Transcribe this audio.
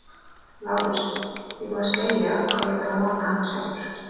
LÁRUS: Ég er búinn að segja að ég þarf að nota hana sjálfur.